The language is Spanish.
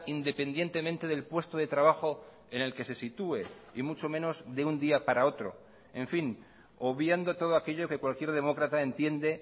independientemente del puesto de trabajo en el que se sitúe y mucho menos de un día para otro en fin obviando todo aquello que cualquier demócrata entiende